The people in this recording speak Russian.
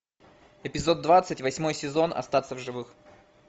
эпизод двадцать восьмой сезон остаться в живых